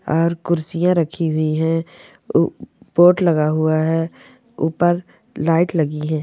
और कुर्सियां रखी हुई है पोर्ट लगा हुआ है ऊपर लाइट लगी है।